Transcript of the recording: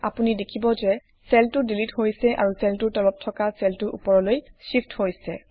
আপুনি দেখিব যে চেলটো ডিলিট হৈছে আৰু চেলটোৰ তলত থকা চেলটো উপৰলৈ শ্বিফ্ট হৈছে